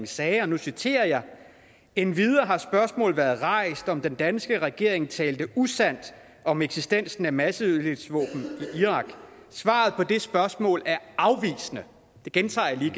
sagde og nu citerer jeg endvidere har spørgsmålet været rejst om den danske regering talte usandt om eksistensen af masseødelæggelsesvåben i irak svaret på det spørgsmål er afvisende det gentager jeg lige